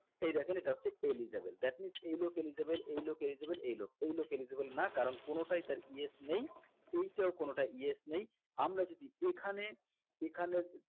এই দেখেন এটা হচ্ছে eligible that means এই লোক eligible এই লোক eligible এই লোক এই লোক eligible না কারণ কোনোটাই তার yes নেই এইটাও কোনটা yes নেই আমরা যদি এখানে এখানে